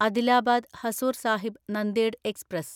Adilabad Hazur Sahib Nanded express